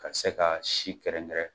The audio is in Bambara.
Ka se ka si kɛrɛnkɛrɛn